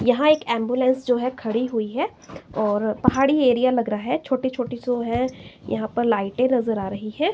यहां एक एंबुलेंस जो है खड़ी हुई है और पहाड़ी एरिया लग रहा है छोटी छोटी सो है यहां पर लाइटे नजर आ रही है।